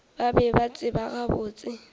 ba be ba tseba gabotse